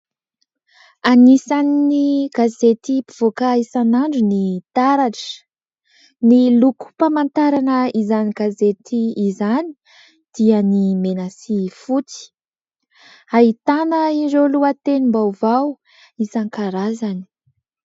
Anisan'ny gazety mpivoaka isan'andro ny « Taratra » ny lokom-pamantarana izany gazety izany dia ny mena sy fotsy. Ahitana ireo lohatenim-baovao isankarazany.